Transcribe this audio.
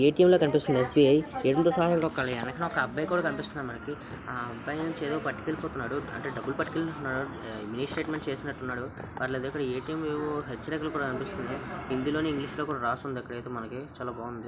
ATM లా కనిపిస్తుంది okay ఎనుకాల ఒక అబ్బాయి కూడా కనిపిస్తున్నాడు. మనకి ఆ అబ్బాయి నుంచి ఏదో పట్టికెళ్ళి పోతున్నాడు .అంటే డబ్బులు పట్టితేల్త ఉన్నాడు. మినీ స్టేట్మెంట్ చేసినట్టు ఉన్నాడు .పర్లేదు హిందీ అండ్ ఇంగ్లీష్ లో రాసి ఉంది మనకి అయితే చాలా బాగుంది.